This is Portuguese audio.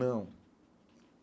Não.